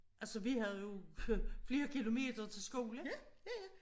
Altså vi havde jo flere kilometer til skole